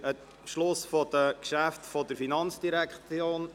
Wir sind am Ende der Geschäfte der FIN.